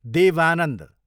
Dev Anand